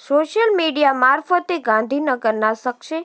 social media મારફતે ગાંધીનગરના શખ્સે